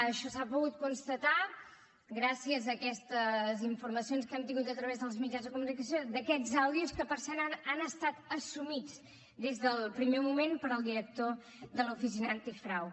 això s’ha pogut constatar gràcies a aquestes informacions que hem tingut a través dels mitjans de comunicació d’aquests àudios que per cert han estat assumits des del primer moment pel director de l’oficina antifrau